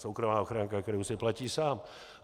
Soukromá ochranka, kterou si platí sám.